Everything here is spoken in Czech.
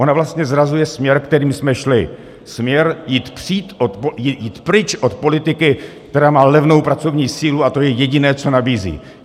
Ona vlastně zrazuje směr, kterým jsme šli, směr jít pryč od politiky, která má levnou pracovní sílu, a to je jediné, co nabízí.